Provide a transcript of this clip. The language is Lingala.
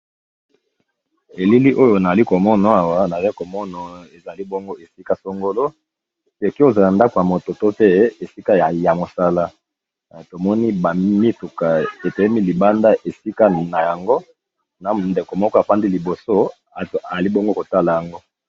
Elili oyo na li komono awa na le komono ezali bongo esika songolo leki ozala ndako ya moto to te esika ya mosala tomoni bamituka etoyemi libanda esika na yango na ndeko moko apandi liboso zali bongo kotala yango.